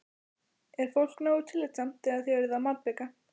Er fólk nógu tillitsamt þegar þið eruð að malbika?